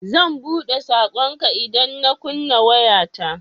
Zan buɗe saƙonka idan na kunna wayata.